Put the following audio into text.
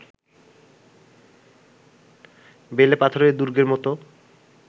বেলে পাথরের দুর্গের মতো